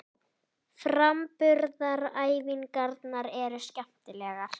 Framburðaræfingarnar eru skemmtilegar.